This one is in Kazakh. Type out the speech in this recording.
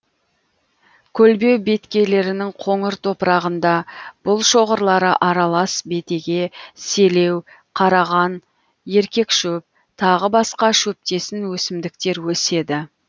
көлбеу беткейлерінің қоңыр топырағында бұл шоғырлары аралас бетеге селеу қараған еркек шөп тағы басқа шөптесін өсімдіктер өседі